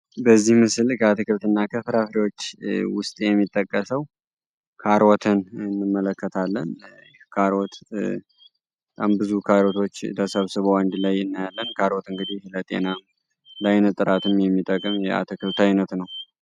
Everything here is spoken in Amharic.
በዚህ ምስል ከአትክልትና ፍራፍሬዎች ውስጥ የሚጠቅሰው ከሮትን እንመለከታለን። ካሮት የሚባሉት አንድ ላይ ተሰብስብ ላይን ጥራት የሚጠቅም የአትክልት አይነት ነው።